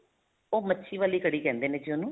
ਉਹ ਮੱਛੀ ਵਾਲੀ ਕੜੀ ਕਹਿੰਦੇ ਨੇ ਜੀ ਉਹਨੂੰ